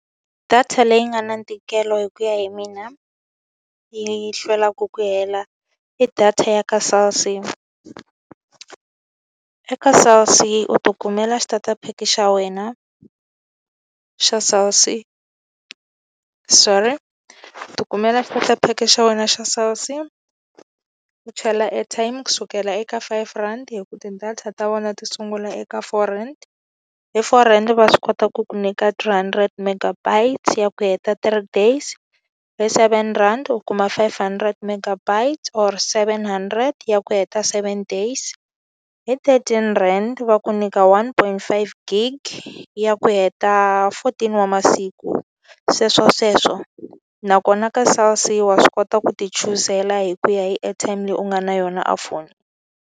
Data leyi nga na ntikelo hi ku ya hi mina, yi yi hlwelaka ku hela i data ya ka Cell C. Eka Cell C u tikumela xitatapheke xa wena xa Cell C. Sorry. U tikumela xitatapheke xa wena xa Cell C, u chela airtime ku sukela eka five rhandi hikuva ti-data ta vona ti sungula eka four rand. Hi four rand va swi kota ku ku nyika three hundred megabytes ya ku heta three days, hi seven rand u kuma five hundred megabytes or seven hundred ya ku heta seven days. Hi thirteen rand va ku nyika one point five gig ya ku heta fourteen wa masiku, sweswo sweswo. Nakona ka Cell C wa swi kota ku ti chuzela hi ku ya hi airtime leyi u nga na yona a foni.